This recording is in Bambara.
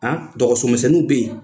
An dɔgɔsomisɛnninw bɛ yen